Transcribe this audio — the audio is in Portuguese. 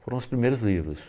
Foram os primeiros livros.